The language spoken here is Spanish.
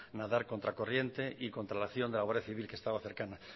nadar contra corriente y contra la acción de la guardia civil que estaba cercana